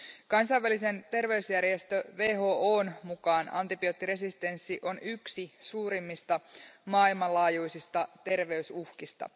Kansainvälisen terveysjärjestö WHOn mukaan antibioottiresistenssi on yksi suurimmista maailmanlaajuisista terveysuhkista.